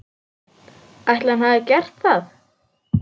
Ætli hann hafi gert það?